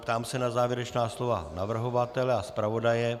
Ptám se na závěrečná slova navrhovatele a zpravodaje.